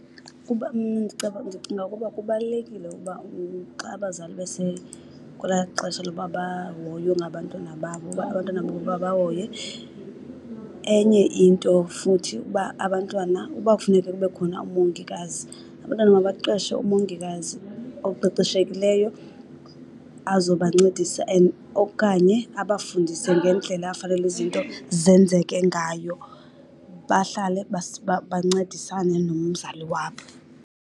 Mna ndicinga ukuba kubalulekile ukuba xa abazali bese kwelaa xesha loba bahoywe ngabantwana babo uba abantwana babo babahoye. Enye into futhi uba abantwana uba kufuneka kube khona umongikazi, abantwana mabaqeshe umongikazi oqeqeshekileyo azobancedisa and okanye abafundise ngendlela afanele izinto zenzeke ngayo. Bahlale bancedisane nomzali wabo.